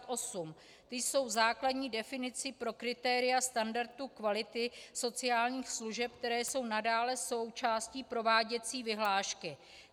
Ty jsou základní definicí pro kritéria standardu kvality sociálních služeb, které jsou nadále součástí prováděcí vyhlášky.